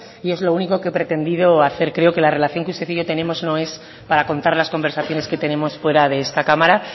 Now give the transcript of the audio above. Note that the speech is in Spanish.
y es lo único que he pretendido hacer creo que la relación que usted y yo tenemos no es para contar las conversaciones que tenemos fuera de esta cámara